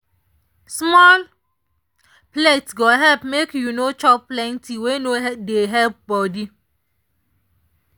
small plate go help make you no chop plenty wey no dey help body.